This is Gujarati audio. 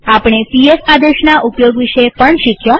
આપણે પીએસ આદેશના ઉપયોગ વિશે પણ શીખ્યા